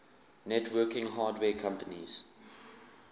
networking hardware companies